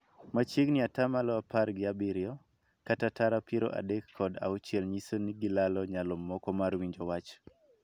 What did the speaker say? Machiegni ataa malo apar gi abiriyo, kata tara piero adek kod auchiel nyiso ni gilalo nyalo moko mar winjo wach.